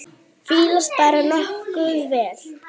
Fílast bara nokkuð vel.